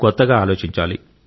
కొత్తగా ఆలోచించాలి